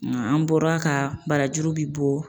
An bɔra ka barajuru bi bɔ